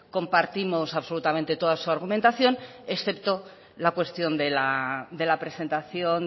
compartimos absolutamente toda su argumentación excepto la cuestión de la presentación